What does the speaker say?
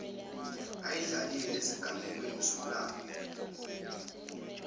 ayidlalile ezigamekweni zomlando